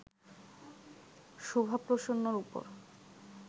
শুভা প্রসন্নর ওপর